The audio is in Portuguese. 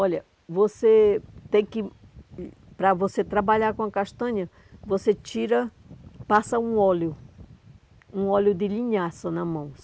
Olha, você tem que, para você trabalhar com a castanha, você tira, passa um óleo, um óleo de linhaça na mão.